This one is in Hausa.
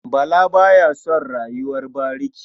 Bala ba ya son rayuwar bariki.